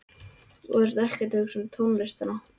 Þú ert ekkert að hugsa um tónlistina.